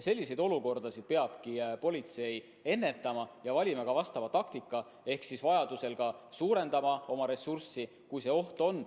Selliseid olukordasid peab politsei ennetama ja valima ka vastava taktika ehk vajaduse korral suurendama oma ressurssi, kui see oht on.